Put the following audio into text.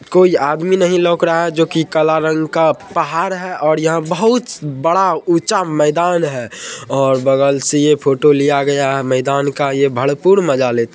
कोई आदमी नहीं लोक रहा है जो की काला रंग का पहाड़ है और यहाँ बहुत बड़ा ऊंचा मेदान है और बगल से ये फोटो लिया गया है मेदान का ये भरपूर मजा ले --